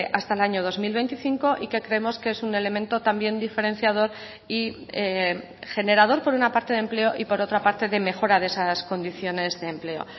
hasta el año dos mil veinticinco y que creemos que es un elemento también diferenciador y generador por una parte de empleo y por otra parte de mejora de esas condiciones de empleo